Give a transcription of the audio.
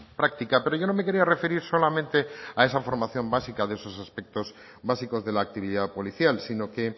práctica pero yo no me quería referir solamente a esa formación básica de esos aspectos básicos de la actividad policial sino que